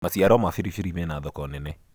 maciaro ma biribiri mena thoko nene